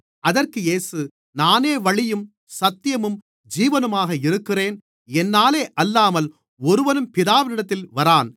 அதற்கு இயேசு நானே வழியும் சத்தியமும் ஜீவனுமாக இருக்கிறேன் என்னாலே அல்லாமல் ஒருவனும் பிதாவினிடத்தில் வரான்